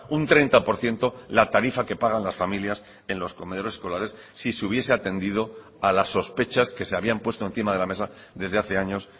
un treinta por ciento la tarifa que pagan las familias en los comedores escolares si se hubiese atendido a las sospechas que se habían puesto encima de la mesa desde hace años